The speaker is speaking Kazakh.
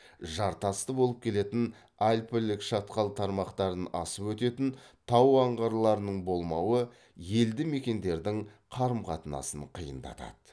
жартасты болып келетін альпілік шатқал тармақтарын асып өтетін тау аңғарларының болмауы елді мекендердің қарым қатынасын қиындатады